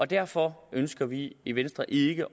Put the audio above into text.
derfor ønsker vi i venstre ikke